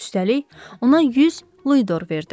Üstəlik, ona 100 Luydor verdim.